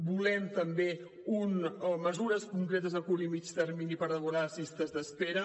volem també mesures concretes a curt i mitjà termini per abordar les llistes d’espera